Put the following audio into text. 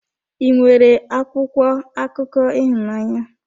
Ị nwere akwụkwọ akụkọ ịhụnanya?